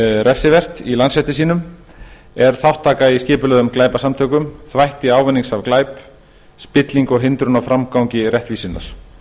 refsivert í landsrétti sínum er þátttaka í skipulögðum glæpasamtökum þvætti ávinnings af glæp spilling og hindrun á framgangi réttvísinnar